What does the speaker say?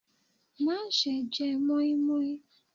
Má ṣe jẹ moinmoin.